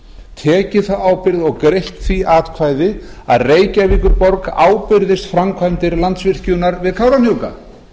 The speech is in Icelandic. tekið þá ábyrgð og greitt því atkvæði að reykjavíkurborg ábyrgðist framkvæmdir landsvirkjunar við kárahnjúka